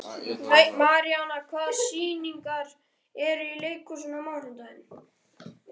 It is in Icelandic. Maríana, hvaða sýningar eru í leikhúsinu á mánudaginn?